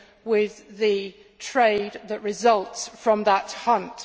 with the trade that results from that hunt.